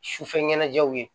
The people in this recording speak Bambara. Sufɛ ɲanajɛw ye